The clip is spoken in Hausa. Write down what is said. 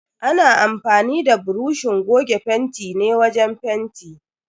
Ana amfanin da buroshin goge fentin ne wajen fenti.